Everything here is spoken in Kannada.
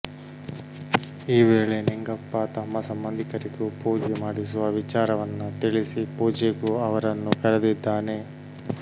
ಈ ವೇಳೆ ನಿಂಗಪ್ಪ ತಮ್ಮ ಸಂಬಂಧಿಕರಿಗೂ ಪೂಜೆ ಮಾಡಿಸುವ ವಿಚಾರವನ್ನ ತಿಳಿಸಿ ಪೂಜೆಗೂ ಅವರನ್ನು ಕರೆದಿದ್ದಾನೆ